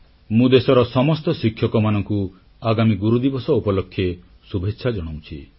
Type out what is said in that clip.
ମୁଁ ଦେଶର ସମସ୍ତ ଶିକ୍ଷକମାନଙ୍କୁ ଆଗାମୀ ଗୁରୁଦିବସ ଉପଲକ୍ଷେ ଶୁଭେଚ୍ଛା ଜଣାଉଛି